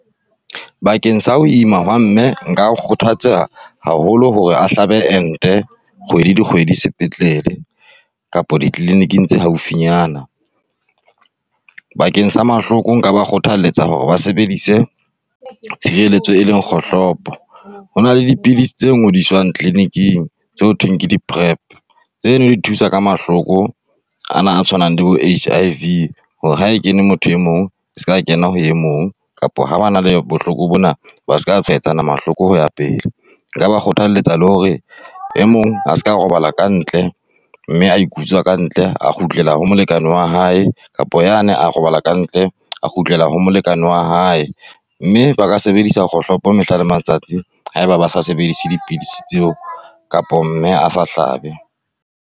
Bakeng sa ho ima hwa mme nka kgothatsa haholo hore a hlaba ente kgwedi dikgwedi, sepetlele kapa di-clinic-ng tse haufinyana bakeng sa mahloko nka ba kgothaletsa hore ba sebedise tshireletso e leng kgohlopo. Ho na le dipidisi tse ngodiswang clinic-ng tse ho thweng ke di-Prep, tseno di thusa ka mahloko ana a tshwanang le bo-HIV hore ha e kene motho e mong e seka kena ho e mong kapa ha ba na le bohloko bona ba seka tshwaetsana mahloko ho ya pele. Nka ba kgothaletsa le hore e mong ha se ka robala ka ntle mme a ikutswa kantle a kgutlela ho molekane wa hae, kapa yane a robala kantle, a kgutlela ho molekane wa hae. Mme ba ka sebedisa kgohlopo mehla le matsatsi haeba ba sa sebedise dipidisi tseo kapa mme a sa hlabe.